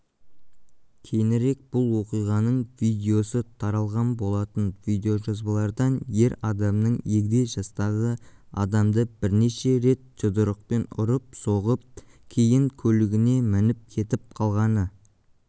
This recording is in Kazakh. кейінірек бұл оқиғаның видеосы таралған болатын видеожазбалардан ер адамның егде жастағы адамды бірнеше рет жұдырықпен ұрып-соғып кейін көлігіне мініп кетіп қалғаны